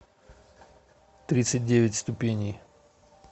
тридцать девять ступеней